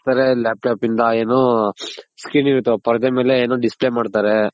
Laptop ಇಂದ ಏನು Screen ಇರುತ್ತೆ ಪರ್ದೆ ಮೇಲೆ ಏನೋ Display ಮಾಡ್ತಾರೆ.